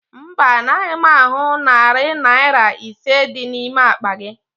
Mba, anaghị m ahụ narị Naira ise dị n'ime akpa gị